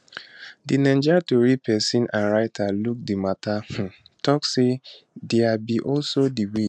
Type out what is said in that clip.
di nigerian tori pesin and writer look di mata um tok say dia be also di way